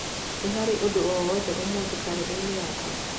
Nĩ harĩ ũndũ o wothe ũmũthĩ thĩinĩ wa kalendarĩ yakwa?